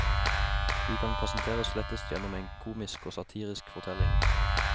De kan presenteres lettest gjennom en komisk og satirisk fortelling.